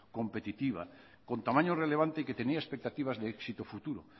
competitiva con tamaño relevante y que tenía expectativas de éxito futuro